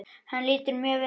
Hann lítur mjög vel út.